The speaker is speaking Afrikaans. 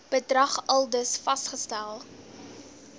bedrag aldus vasgestel